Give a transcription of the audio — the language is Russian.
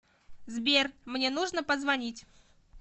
сбер мне нужно позвонить